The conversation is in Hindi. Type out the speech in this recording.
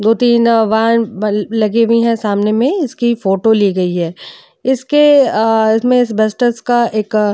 दो तीन वाहन लगे हुए हैं सामने में। इसकी फोटो ली गई है। इसके अ मे वेस्टेड का एक --